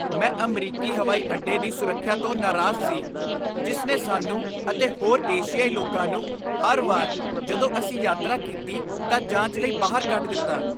ਮੈਂ ਅਮਰੀਕੀ ਹਵਾਈ ਅੱਡੇ ਦੀ ਸੁਰੱਖਿਆ ਤੋਂ ਨਾਰਾਜ਼ ਸੀ, ਜਿਸ ਨੇ ਸਾਨੂੰ ਅਤੇ ਹੋਰ ਏਸ਼ੀਆਈ ਲੋਕਾਂ ਨੂੰ ਹਰ ਵਾਰ ਜਦੋਂ ਅਸੀਂ ਯਾਤਰਾ ਕੀਤੀ ਤਾਂ ਜਾਂਚ ਲਈ ਬਾਹਰ ਕੱਢ ਦਿੱਤਾ।